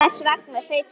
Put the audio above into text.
Hvers vegna þau tvö?